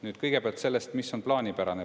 Nüüd kõigepealt sellest, mis on plaanipärane.